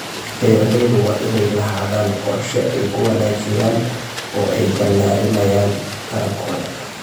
Beeralayda waa inay lahaadaan qorshe ay ku wanaajiyaan oo ay balaadhinayaan tarankooda.